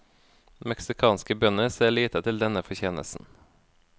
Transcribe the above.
Meksikanske bønder ser lite til denne fortjenesten.